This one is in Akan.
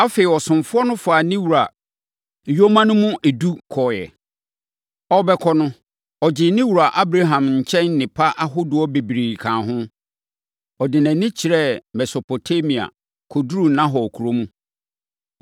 Afei, ɔsomfoɔ no faa ne wura nyoma no mu edu kɔeɛ. Ɔrebɛkɔ no, ɔgyee ne wura Abraham nkyɛn nnepa ahodoɔ bebree kaa ho. Ɔde nʼani kyerɛɛ Mesopotamia, kɔduruu Nahor kuro mu.